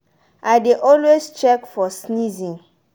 i dey always check for sneezing.